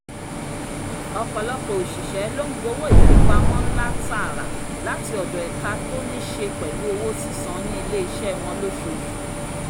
ọ̀pọ̀lọpọ̀ òṣìṣẹ́ ló ń gbowó ìfipamọ́ ńlá tààrà láti ọ̀dọ̀ ẹ̀ka to níṣe pẹ̀lú owó sísan ní iléeṣẹ́ wọn lóṣooṣù